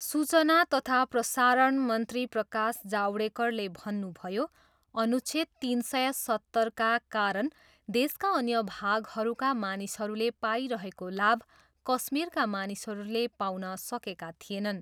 सूचना तथा प्रसारण मन्त्री प्रकाश जावडेकरले भन्नुभयो, अनुच्छेद तिन सय सत्तरका कारण देशका अन्य भागहरूका मानिसहरूले पाइरहेको लाभ कश्मीरका मानिसहरूले पाउन सकेका थिएनन्।